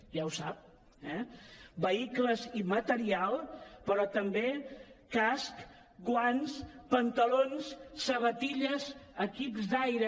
ja ho sap eh vehicles i material però també casc guants pantalons sabatilles equips d’aire